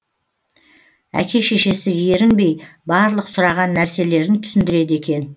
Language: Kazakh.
әке шешесі ерінбей барлық сұраған нәрселерін түсіндіреді екен